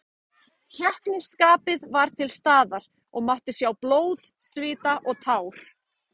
Keppnisskapið var til staðar og mátti sjá blóð, svita og tár.